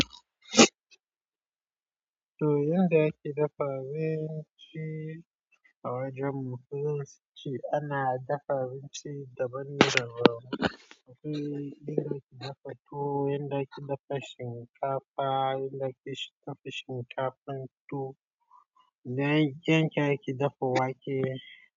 To yanda ake dafa abinci a wajen mu ko zance ana dafa abinci daban daban. Abinci inda ake dafa tuwo, inda ake dafa shinkafa, inda ake dafa shinkafan tuwo. Then ken ake dafa wake.